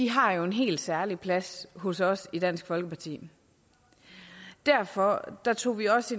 har jo en helt særlig plads hos os i dansk folkeparti derfor tog vi også